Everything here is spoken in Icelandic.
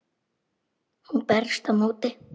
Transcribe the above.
Hún berst á móti.